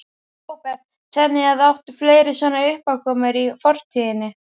Róbert: Þannig að, áttu fleiri svona uppákomur í fortíðinni?